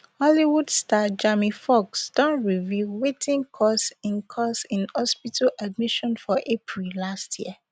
hollywood star jamie foxx don reveal wetin cause im cause im hospital admission for april last year